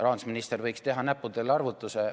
Rahandusminister võiks teha näppudel arvutuse.